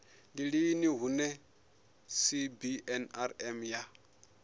ndi lini hune cbnrm ya